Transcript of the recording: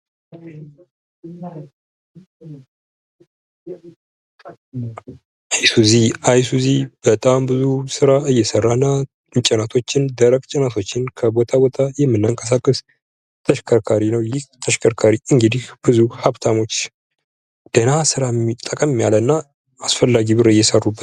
አይሱዚ፡- አይሱዚ በጣም ብዙ ስራዎችን እየሰራና ደረቅ ጭነቶችን ከቦታ ቦታ የምናንቀሳቀስበት ተሽከርካሪ ነው። እንግዲህ ይህ ተሽከርካሪ ብዙ ሀብታሞች ደህና ስራ እና ጠቀም ያለ እና አስፈላጊ ብር እየሰሩበት ነው።